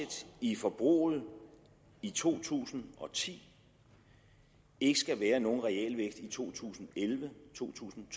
i forbruget i to tusind og ti ikke skal være nogen realvækst i to tusind og elleve to tusind og